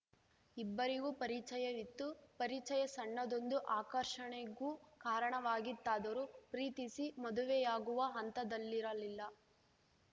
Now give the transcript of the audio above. ಇಬ್ಬರಿಗೂ ಪರಿಚಯವಿತ್ತು ಪರಿಚಯ ಸಣ್ಣದೊಂದು ಆಕರ್ಷಣೆಗೂ ಕಾರಣವಾಗಿತ್ತಾದರೂ ಪ್ರೀತಿಸಿ ಮದುವೆಯಾಗುವ ಹಂತದಲ್ಲಿರಲಿಲ್ಲ